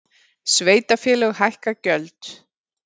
Sveitarfélög hækka gjöld